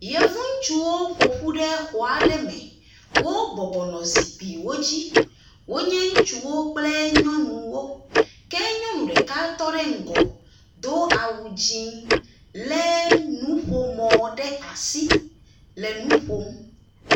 Yevu ŋutsuwo ƒo ƒu xɔa aɖe me, wobɔbɔ nɔ zikpuiwo dzi wonye ŋutsuwo kple nyɔnuwo. Ke nyɔnu tɔ ɖe ŋgɔ do awu dzɛ̃ lé nuƒomɔ ɖe asi le nu ƒom.